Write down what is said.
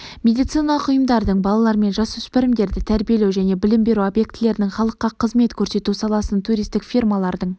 медициналық ұйымдардың балалар мен жасөспірімдерді тәрбиелеу және білім беру объектілерінің халыққа қызмет көрсету саласының туристік фирмалардың